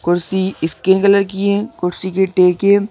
कुर्सी skin colour की है कुर्सी के टेके--